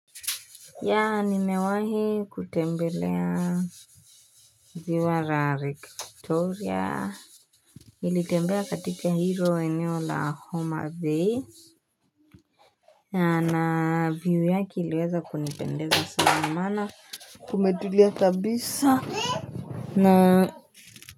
Yaa nimewahi kutembelea ziwa la victoria. Nilitembea katika hilo eneo la homabay yaa na view yaki iliweza kunipendeza sana maana kumetulia kabisa na.